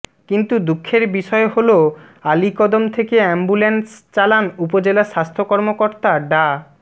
কিন্তু দুঃখের বিষয় হলো আলীকদম থেকে অ্যাম্বুলেন্স চালান উপজেলা স্বাস্থ্য কর্মকর্তা ডা